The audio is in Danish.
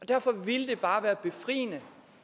derfor ville det bare være befriende